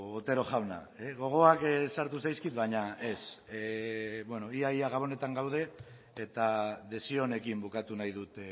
otero jauna gogoak sartu zaizkit baina ez ia ia gabonetan gaude eta desio onekin bukatu nahi dut